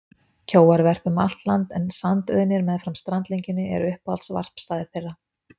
Kjóar verpa um allt land en sandauðnir meðfram strandlengjunni eru uppáhalds varpstaðir þeirra.